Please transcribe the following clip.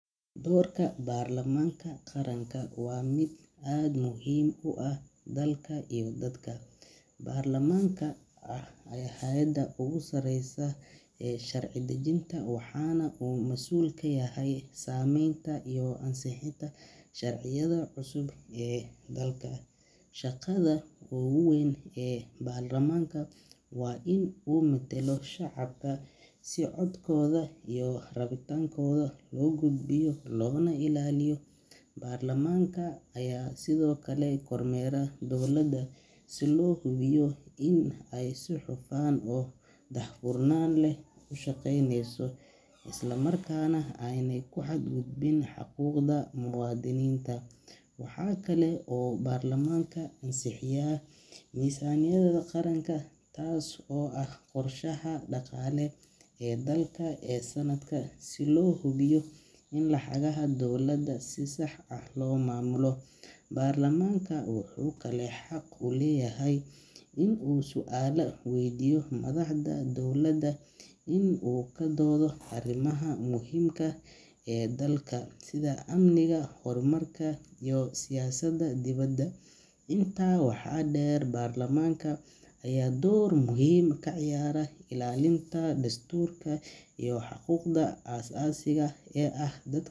Dorka Baarlamaanka Qaranka waa mid aad muhiim u ah dalka iyo dadka. Baarlamaanka ayaa ah hay’adda ugu sareysa ee sharci-dejinta, waxaana uu masuul ka yahay sameynta iyo ansixinta sharciyada cusub ee dalka. Shaqada ugu weyn ee baarlamaanka waa in uu matalo shacabka, si codkooda iyo rabitaankooda loo gudbiyo loona ilaaliyo. Baarlamaanka ayaa sidoo kale kormeera dowladda si loo hubiyo in ay si hufan oo daahfurnaan leh u shaqeynayso, isla markaana aanay ku xadgudbin xuquuqda muwaadiniinta. Waxaa kale oo uu baarlamaanka ansixiyaa miisaaniyadda qaranka, taas oo ah qorshaha dhaqaale ee dalka ee sanadka, si loo hubiyo in lacagaha dowladda si sax ah loo maamulo. Baarlamaanka wuxuu kaloo xaq u leeyahay in uu su’aalo waydiiyo madaxda dowladda iyo in uu ka doodo arrimaha muhiimka ah ee dalka, sida amniga, horumarka, iyo siyaasadda dibadda. Intaa waxaa dheer, baarlamaanka ayaa door muhiim ah ka ciyaara ilaalinta dastuurka iyo xuquuqda aasaasiga ah ee dad.